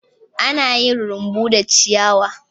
Ana yin rumbu da ciyawa.